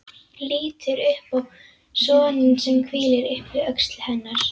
Lítur upp á soninn sem hvílir upp við öxl hennar.